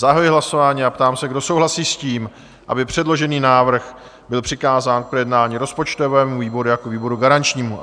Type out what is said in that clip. Zahajuji hlasování a ptám se, kdo souhlasí s tím, aby předložený návrh byl přikázán k projednání rozpočtovému výboru jako výboru garančnímu?